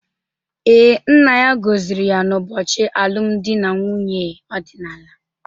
Ee, nna ya gọziri ya n’ụbọchị alụmdi na nwunye ọdịnala.